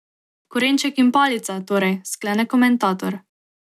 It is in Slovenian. Korenček in palica, torej, sklene komentator.